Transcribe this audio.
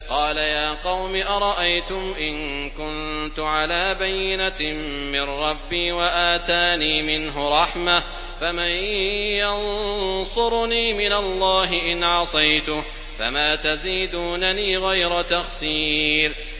قَالَ يَا قَوْمِ أَرَأَيْتُمْ إِن كُنتُ عَلَىٰ بَيِّنَةٍ مِّن رَّبِّي وَآتَانِي مِنْهُ رَحْمَةً فَمَن يَنصُرُنِي مِنَ اللَّهِ إِنْ عَصَيْتُهُ ۖ فَمَا تَزِيدُونَنِي غَيْرَ تَخْسِيرٍ